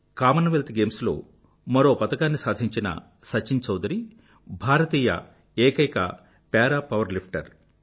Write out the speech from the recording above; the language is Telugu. కామన్వెల్త్ గేమ్స్ లో మరో పతకాన్ని సాధించిన సచిన్ చౌదరి భారతీయ ఏకైక పారా పవర్ లిఫ్టర్